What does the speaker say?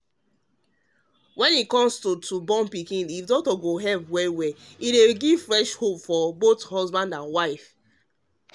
to try help wey doctor give to um help born born pikin fit give fresh hope for both husband and wife